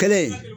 Kelen